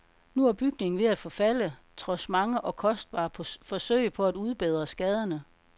Nu er bygningen ved at forfalde, trods mange og kostbare forsøg på at udbedre skaderne.